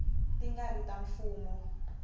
ti nga ri ta mfumo